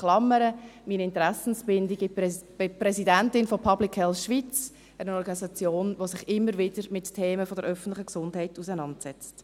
In Klammern meine Interessenbindung: Ich bin Präsidentin von Public Health Schweiz, einer Organisation, die sich immer wieder mit Themen der öffentlichen Gesundheit auseinandersetzt.